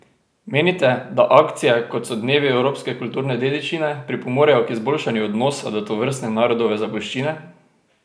Menite, da akcije, kot so Dnevi evropske kulturne dediščine, pripomorejo k izboljšanju odnosa do tovrstne narodove zapuščine?